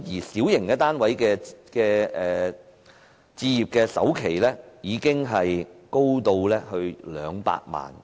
小型單位的置業首期金額，高達200萬元。